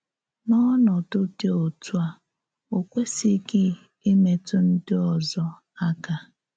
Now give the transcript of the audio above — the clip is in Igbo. N’ọ̀nòdụ̀ dị òtú à, ọ kwèsìghị ìmètụ̀ ǹdí òzò ákà.